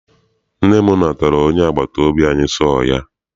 Nne m natara onye agbata obi anyi sọọ ya.